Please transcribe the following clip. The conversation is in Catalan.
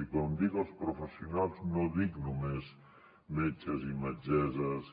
i quan dic els professionals no dic només metges i metgesses